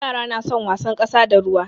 Yara na son wasan ƙasa da ruwa.